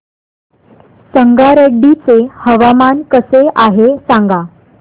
संगारेड्डी चे हवामान कसे आहे सांगा